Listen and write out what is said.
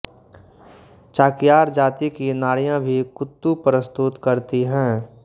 चाक्यार जाति की नारियाँ भी कूत्तु प्रस्तुत करती हैं